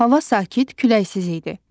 Hava sakit, küləksiz idi.